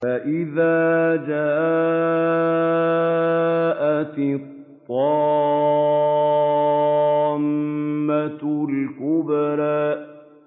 فَإِذَا جَاءَتِ الطَّامَّةُ الْكُبْرَىٰ